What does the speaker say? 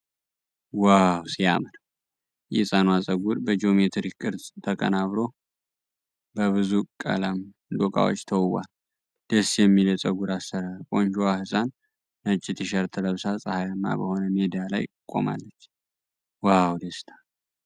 ዋው ሲያምር! የሕፃኗ ፀጉር በጂኦሜትሪክ ቅርፅ ተቀናብሮ በብዙ ቀለም ዶቃዎች ተውቧል። ደስ የሚል የፀጉር አሰራር! ቆንጆዋ ሕፃን ነጭ ቲ-ሸርት ለብሳ ፀሐያማ በሆነ ሜዳ ላይ ቆማለች። ዋው ደስታ!